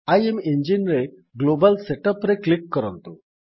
ଇମେଞ୍ଜିନ୍ ରେ global set up ରେ click କରନ୍ତୁ